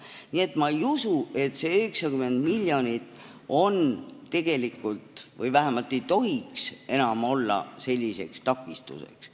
Nii et ma ei usu, et see 90 miljonit on – vähemalt ei tohiks see enam olla – selliseks takistuseks.